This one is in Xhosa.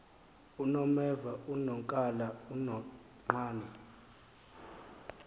unomeva unonkala unonqane